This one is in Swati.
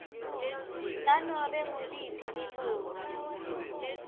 nanobe nguliphi lilunga